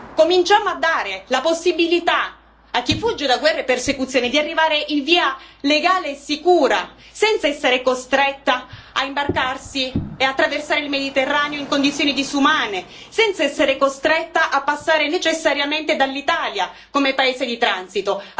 cominciamo a dare la possibilità a chi fugge da guerre e persecuzioni di arrivare in via legale e sicura, senza essere costretti a imbarcarsi e attraversare il Mediterraneo in condizioni disumane, senza essere costretti a passare necessariamente dall'Italia come paese di transito.